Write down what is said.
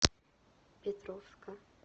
петровска